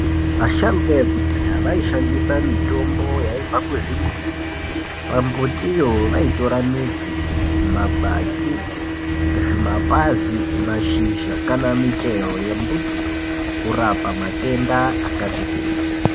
Vasharukwa vekudhaya vaishandisa mitombo yaibva kuzvimbuti. Pambuti iyo vaitora midzi, makwati, zvimapazi , mashizha kana michero yembutiyo kurapa matenda akati kuti.